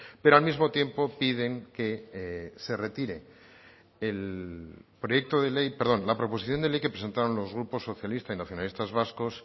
pero al mismo tiempo piden que se retire el proyecto de ley perdón la proposición de ley que presentaron los grupos socialista y nacionalistas vascos